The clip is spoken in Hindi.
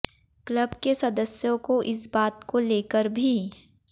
क्लब के सदस्यों को इस बात को लेकर भी